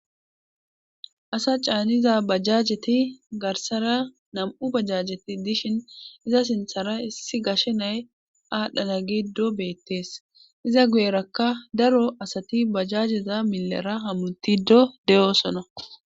asa caaniza bajjajeti garsara nam7u bajajeti dishin iza sinthara issi gashe nay aadhdhana giddo beettees iza guyerakka daro asati bajajeza millera hamutido deyosona